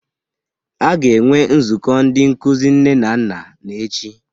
A ga-enwe Nzukọ Ndị Nkuzi Nne na Nna n'echi